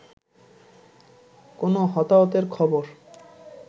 কোন হতাহতের খবর